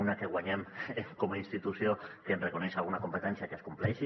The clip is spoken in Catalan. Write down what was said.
una que guanyem com a institució que ens reconeix alguna competència que es compleixi